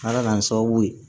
Ala k'an sababu ye